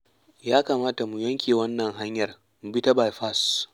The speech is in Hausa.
Ya kamata mu yanke wannan hanyar mu bi ta baifas.